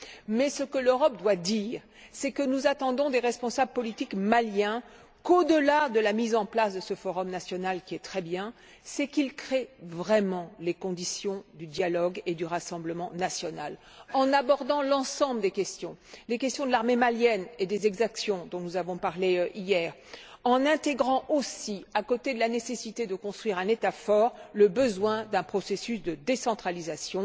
Mais ce que l'Europe doit dire, c'est que nous attendons des responsables politiques maliens, qu'au delà de la mise en place de ce forum national, qui est une très bonne chose, ils créent vraiment les conditions du dialogue et du rassemblement national, en abordant l'ensemble des questions, les questions de l'armée malienne et des exactions dont nous avons parlé hier, et en intégrant aussi, à côté de la nécessité de construire un État fort, le besoin d'un processus de décentralisation.